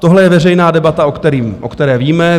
Tohle je veřejná debata, o které víme.